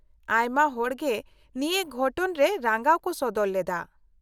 -ᱟᱭᱢᱟ ᱦᱚᱲ ᱜᱮ ᱱᱤᱭᱟᱹ ᱜᱷᱚᱴᱚᱱ ᱨᱮ ᱨᱟᱸᱜᱟᱣ ᱠᱚ ᱥᱚᱫᱚᱨ ᱞᱮᱫᱟ ᱾